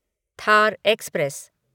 Thar express